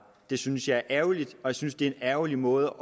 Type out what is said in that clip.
det synes jeg er ærgerligt og jeg synes det er en ærgerlig måde